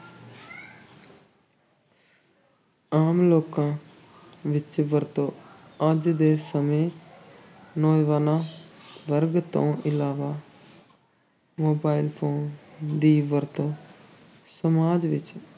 ਆਮ ਲੋਕਾਂ ਵਿੱਚ ਵਰਤੋਂ, ਅੱਜ ਦੇ ਸਮੇਂ ਨੌਜਵਾਨਾਂ ਵਰਗ ਤੋਂ ਇਲਾਵਾ mobile phone ਦੀ ਵਰਤੋਂ ਸਮਾਜ ਵਿੱਚ